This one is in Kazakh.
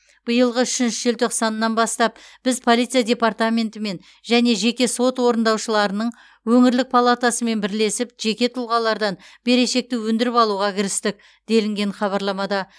биылғы үшінші желтоқсанынан бастап біз полиция департаментімен және жеке сот орындаушыларының өңірлік палатасымен бірлесіп жеке тұлғалардан берешекті өндіріп алуға кірістік делінген хабарламада